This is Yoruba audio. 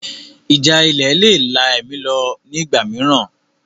Ìjà ilẹ̀ le è la ẹ̀mí lọ ní ìgbà mìíràn